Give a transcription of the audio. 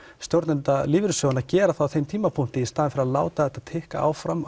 stjórnenda lífeyrissjóðanna að gera það á þeim tímapunkti í stað að láta þetta tikka áfram